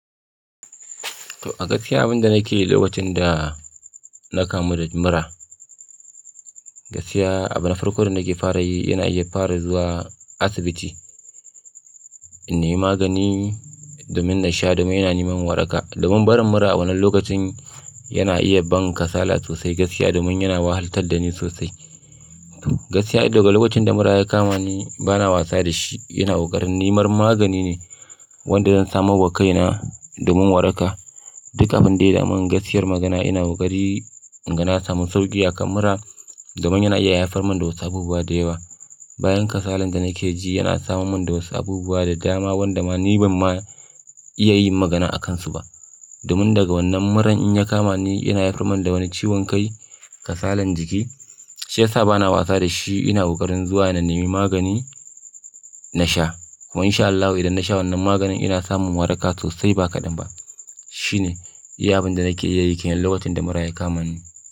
To a gaskiya abin da nake lokacin da na kamu da mura, gaskiya abu na farko da nake fara yi ina iya fara zuwa asibiti, in nemi magani domin na sha domin yana ne mar waraka. Domin barin mura a wannan lokacin yana iya ban kasala sosai gaskiya domin yana wahalatar da ni sosai. Gaskiya daga lokacin da mura ya kama ni bana wasa da shi ina ƙoƙarin neman magani ne wanda zan samu wa kaina domin waraka. Duka abin da ya da man gaskiyar magana ina ƙoƙari in ga samun sauki akan mura domin yana iya haifar mun da wasu abubuwa da yawa. Bayan kasalan da nake ji yana samun mun da wasu abubuwa da dama wanda ma ni ban ma iya yin magana a kansu ba. Domin daga wannan muran in ya kama ni yana haifar mun da wani ciwon kai, kasalan jiki. Shi yasa bana wasa da shi ina ƙoƙarin zuwa ina neman magani na sha. Kuma in sha Allahu idan na sha wannan maganin ina samun waraka sosai ba kaɗan ba. Shi ne iya abin da nake iya yi ke nan lokacin da mura ya kama ni.